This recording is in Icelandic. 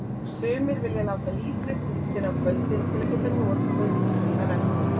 Sumir vilja láta lýsa upp myndina á kvöldin til að geta notið hennar þá.